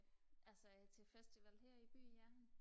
altså jeg er til festival her i byen ja